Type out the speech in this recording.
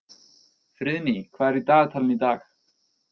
Friðný, hvað er í dagatalinu í dag?